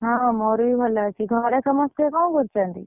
ହଁ, ମୋର ବି ଭଲ ଅଛି ଘରେ ସମସ୍ତେ କଣ କରୁଛନ୍ତି?